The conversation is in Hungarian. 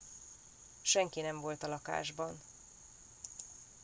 senki nem volt a lakásban